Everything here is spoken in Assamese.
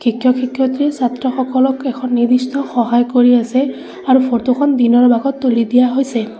শিক্ষক শিক্ষয়িত্ৰী ছাত্ৰসকলক এখন নিৰ্দিষ্ট সহায় কৰি আছে আৰু ফটো খন দিনৰ ভাগত তুলি দিয়া হৈছে।